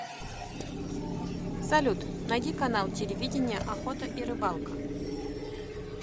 салют найди канал телевидения охота и рыбалка